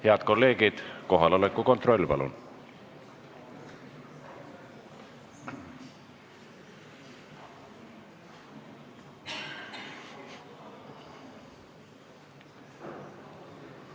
Head kolleegid, kohaloleku kontroll palun!